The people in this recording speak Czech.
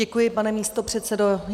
Děkuji, pane místopředsedo.